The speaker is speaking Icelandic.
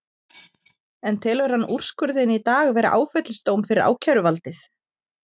En telur hann úrskurðinn í dag vera áfellisdóm fyrir ákæruvaldið?